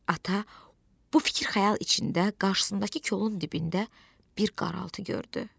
Ata bu fikir-xəyal içində qarşısındakı kolun dibində bir qaraltı gördü.